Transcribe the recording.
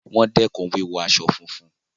Wọ́n dẹkùn wíwọ aṣọ funfun.